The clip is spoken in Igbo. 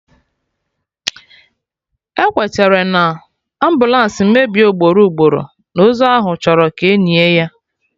Ekwetere na, ambụlansị mebie ugboro ugboro, na ozu ahụ achọrọ ka enie ya